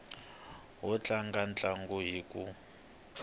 wo tlanga ntlangu hi ku